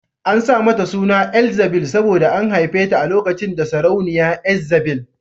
An sa mata suna Elzzabil saboda an haife ta lokacin da sarauniya Ezzabil